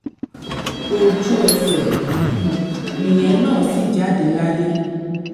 ojú ẹsẹ̀ um nìyẹn náà sì jáde láyé